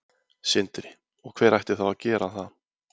Sindri: Og hver ætti þá að gera það?